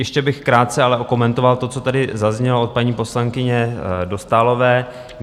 Ještě bych krátce ale okomentoval to, co tady zaznělo od paní poslankyně Dostálové.